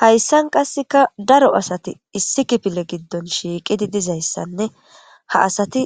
Haysan qaseka daro asati issi kifile gidon shiqidi dizaysanne ha asati